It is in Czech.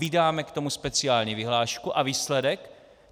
Vydáme k tomu speciální vyhlášku - a výsledek?